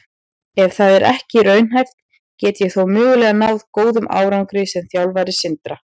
Ef það er ekki raunhæft, get ég þá mögulega náð góðum árangri sem þjálfari Sindra?